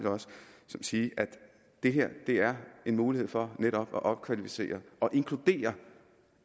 sige det her er en mulighed for netop at opkvalificere og inkludere